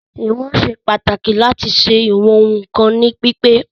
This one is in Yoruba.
Ìwọ̀n ṣe pàtàkì láti leè ṣe ìwọn ohun kan ní pípé.